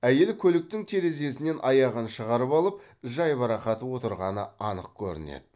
әйел көліктің терезесінен аяғын шығарып алып жайбарақат отырғаны анық көрінеді